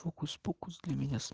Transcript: фокус-покус для меня